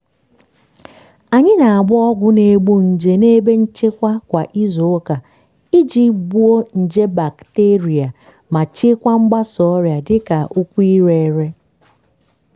anyị na-agba ọgwụ na-egbu nje n'ebe nchekwa kwa izu ụka iji gbuo nje bakiterịa ma chịkwaa mgbasa ọrịa dịka ụkwụ ire ere.